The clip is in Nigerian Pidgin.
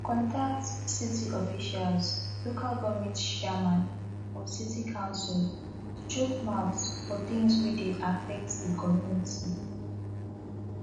contact city officials local government chairman or city council to chook mouth for things wey dey affect di community